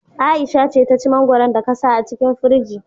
Aisha ce ta ci mangwaron da ka sa a cikin firji